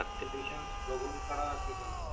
Conditions बघून करा की झालं.